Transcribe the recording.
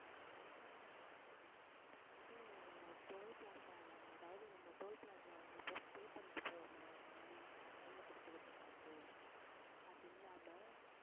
இது toll plaza ல அதாவது நம்ம toll plaza ல pay பண்ணிட்டு போவோமா money கையில கொடுத்து கொடுத்த காசு அது இல்லாம